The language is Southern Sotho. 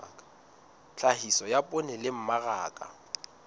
tlhahiso ya poone le mmaraka